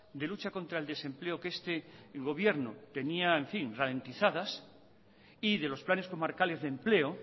de luchas contra el desempleo que este gobierno tenía ralentizadas y de los planes comarcales de empleo